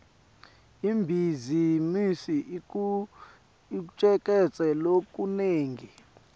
ibhizimisi icuketse lokunengi